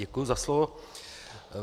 Děkuji za slovo.